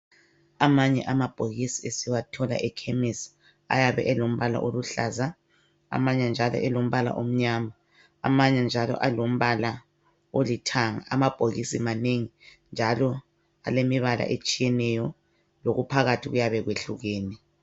Amanye amabhokisi siwathola ekhemisi, ayabe elombala oluhlaza, amanye njalo elombala omnyama amanye njalo elombala olithanga,. Amabhokisi amanengi njalo alemibala etshiyeneyo lokuphakathi kuyabe kwehlukene.